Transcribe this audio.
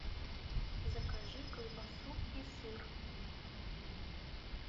закажи колбасу и сыр